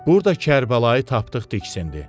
Burda Kərbəlayı tapdıq diksindi.